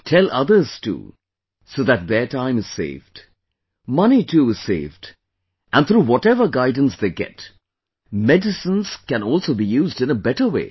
Tell others too so that their time is saved... money too is saved and through whatever guidance they get, medicines can also be used in a better way